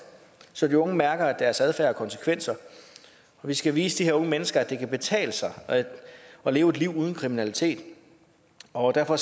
så de unge mærker at deres adfærd har konsekvenser vi skal vise de her unge mennesker at det kan betale sig at leve et liv uden kriminalitet og derfor